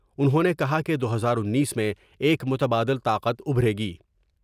انہوں نے کہا کہ دو ہزار انیس میں ایک متبادل طاقت ابھرے گی ۔